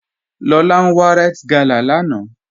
Lọlá n wà Ríte gálà láńà